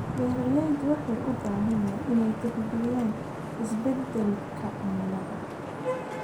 Beeraleydu waxay u baahan yihiin inay tixgeliyaan isbeddelka cimilada.